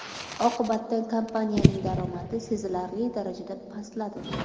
Oqibatda kompaniyaning daromadi sezilarli darajada pastladi.